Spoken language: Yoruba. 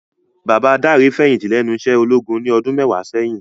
Baba Dare fèyinti lènú iṣè ólógún ni òdùn mèwá sèyin